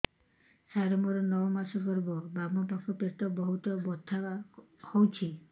ସାର ମୋର ନଅ ମାସ ଗର୍ଭ ବାମପାଖ ପେଟ ବହୁତ ବଥା ହଉଚି